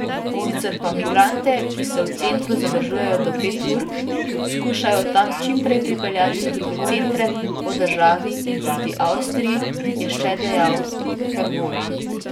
Sicer pa migrante, ki se v centru zadržijo do pet ur, skušajo od tam čim prej prepeljati v druge centre po državi in proti Avstriji, je še dejal Hervol.